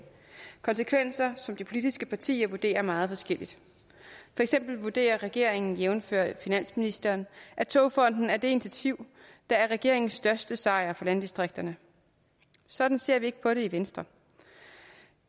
konsekvenser som de politiske partier vurderer meget forskelligt for eksempel vurderer regeringen jævnfør finansministeren at togfonden dk er det initiativ der er regeringens største sejr for landdistrikterne sådan ser vi ikke på det i venstre